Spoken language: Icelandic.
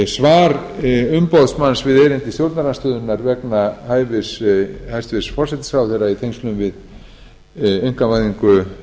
svar umboðsmanns við erindi stjórnarandstöðunnar vegna hæfis hæstvirtur forsætisráðherra í tengslum við einkavæðingu